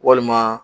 Walima